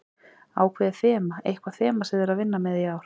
Ákveðið þema, eitthvað þema sem þið eruð að vinna með í ár?